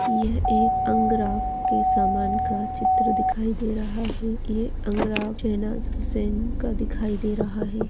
यह एक के समान का चित्र दिखाई दे रहा है यह अंगरा हुसैन का दिखाई दे रहा है।